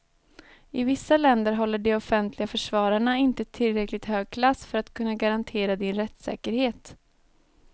I vissa länder håller de offentliga försvararna inte tillräckligt hög klass för att kunna garantera din rättssäkerhet.